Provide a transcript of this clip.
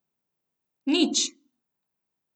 Nič.